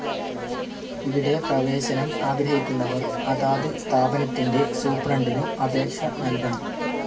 ഇവിടെ പ്രവേശനം ആഗ്രഹിക്കുന്നവർ അതാത് സ്ഥാപനത്തിൻ്റെ സൂപ്രണ്ടിനു അപേക്ഷ നൽകണം.